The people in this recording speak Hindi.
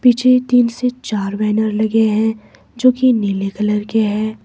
पीछे एक टीन से चार बैनर लगे हैं जो कि नीले कलर के हैं।